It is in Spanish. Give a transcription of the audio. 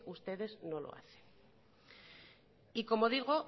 ustedes no lo hacen y como digo